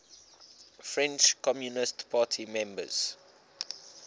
french communist party members